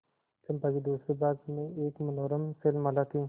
चंपा के दूसरे भाग में एक मनोरम शैलमाला थी